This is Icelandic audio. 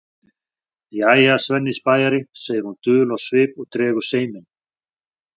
Jæja, Svenni spæjari, segir hún dul á svip og dregur seiminn.